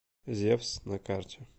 зевс на карте